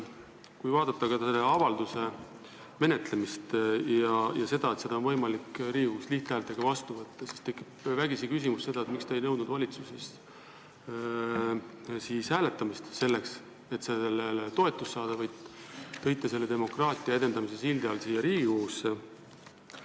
Kui vaadata selle avalduse menetlemist ja seda, et seda on võimalik Riigikogus lihthäälteenamusega vastu võtta, siis tekib vägisi küsimus, miks te ei nõudnud siis valitsuses hääletamist, selleks et sellele toetust saada, vaid tõite selle demokraatia edendamise sildi all siia Riigikogusse.